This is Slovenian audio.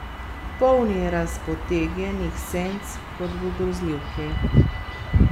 Polni razpotegnjenih senc, kot v grozljivki.